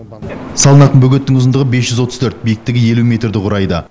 салынатын бөгеттің ұзындығы бес жүз отыз төрт биіктігі елу метрді құрайды